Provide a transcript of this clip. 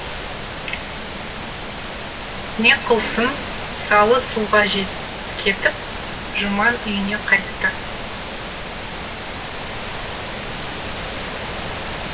не қылсын салы суға кетіп жұман үйіне қайтты